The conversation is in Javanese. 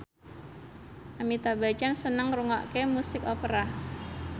Amitabh Bachchan seneng ngrungokne musik opera